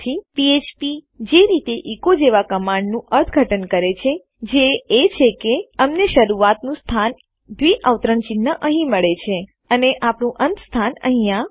ફ્ફ્પ પીએચપી જે રીતે એચો એકો જેવા કમાંડનું અર્થઘટન કરે છે જે એ છે કે અમને શરૂઆતનું સ્થાન આપણા ડબલ ક્વોટ્સ દ્વિઅવતરણ ચિન્હ અહીં મળે છે અને આપણું અંત સ્થાન અહીંયા